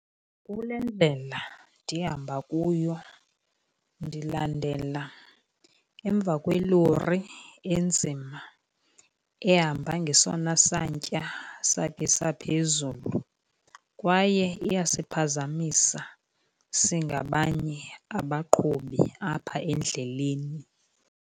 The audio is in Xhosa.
Kule ndlela ndihamba kuyo ndilandela emva kwelori enzima ehamba ngesona santya sakhe saphezulu, kwaye iyasiphazamisa singabanye abaqhubi apha endleleni.